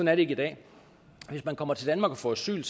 er det ikke i dag hvis man kommer til danmark og får asyl